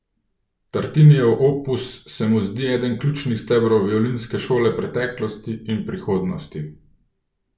Tartinijev opus se mu zdi eden ključnih stebrov violinske šole preteklosti in prihodnosti.